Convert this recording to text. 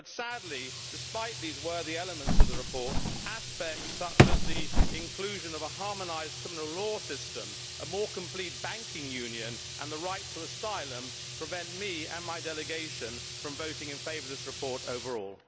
But, sadly, despite these worthy elements of the report, aspects such as the inclusion of a harmonised criminal law system, a more complete banking union and the right to asylum prevent me and my delegation from voting in favour of this report overall.